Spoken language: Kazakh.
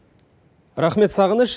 рахмет сағыныш